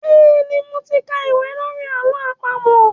Bẹ́ẹ̀ni, mo ti ka ìwé lórí àlọ́ àpamọ̀.